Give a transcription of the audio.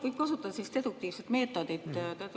Võib kasutada deduktiivset meetodit.